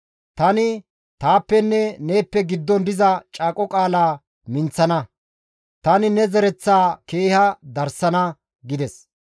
Tani taappenne neeppe giddon diza caaqo qaalaa minththana; tani ne zereththaa keeha darsana!» gides.